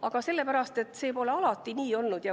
Aga sellepärast, et see pole alati nii olnud.